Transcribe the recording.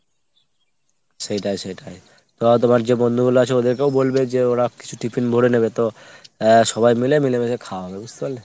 সেইটাই সেইটাই। তো তোমার যে বন্ধুগুলো আছে ওদেরকেও বলবে ওরাও কিছু টিফিন ভোরে নেবে তো আহ সবাই মিলে মিলেমিশে খাওয়া হবে বুঝতে পারলে ?